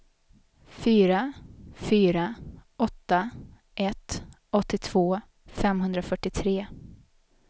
fyra fyra åtta ett åttiotvå femhundrafyrtiotre